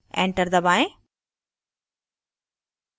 enter दबाएं